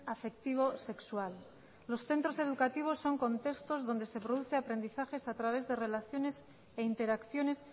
afectivo sexual los centros educativos son contextos donde se producen aprendizajes a través de relaciones e interacciones